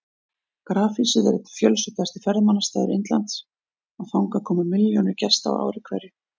Grafhýsið er einn fjölsóttasti ferðamannastaður Indlands og þangað koma milljónir gesta á ári hverju.